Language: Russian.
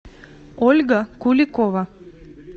ольга куликова